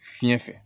Fiɲɛ fɛ